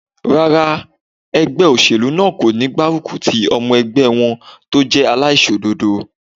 Rárá, ẹgbẹ́ óṣèlú náà kò ní gbárùkù ti ọmọ ẹgbẹ́ wọn tó jẹ́ aláìṣòdodo